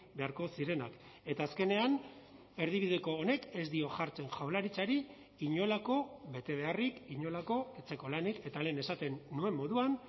beharko zirenak eta azkenean erdibideko honek ez dio jartzen jaurlaritzari inolako betebeharrik inolako etxeko lanik eta lehen esaten nuen moduan